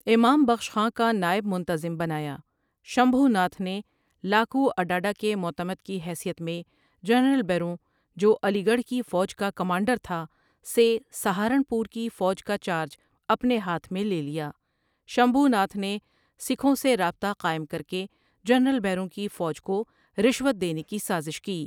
امام بخش خاں کا نائب منتظم بنایا شمبھو ناتھ نے لاکواڈاڈا کے معتمد کی حیثیت میں جنرل بروں جو علی گڑھ کی فوج کا کمانڈر تھا سے سہارنپور کی فوج کا چارج اپنے ہاتھ میں لے لیا شمبھو ناتھ نے سکھوں سے رابطہ قائم کرکے جنرل بروں کی فوج کو رشوت دینے کی سازش کی ۔